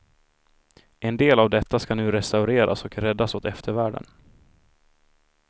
En del av detta skall nu restaureras och räddas åt eftervärlden.